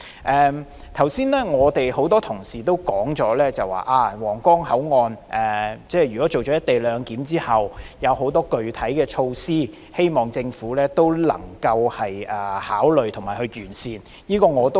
剛才多位同事都提出多項皇崗口岸實施"一地兩檢"後的具體措施，希望政府能夠加以考慮和完善。